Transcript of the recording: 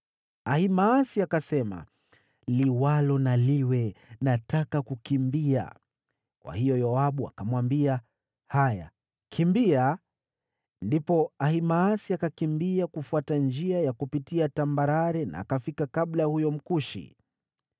Ahimaasi akasema, “Liwalo na liwe, nataka kukimbia.” Kwa hiyo Yoabu akamwambia, “Haya, kimbia!” Ndipo Ahimaasi akakimbia kufuata njia ya kupitia tambarare, akafika kabla ya huyo Mkushi.